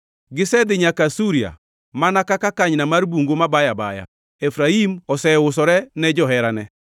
Gisedhi nyaka Asuria mana kaka kanyna mar bungu mabayo abaya. Efraim oseusore ne joherane.